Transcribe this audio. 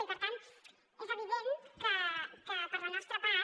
i per tant és evident que per la nostra part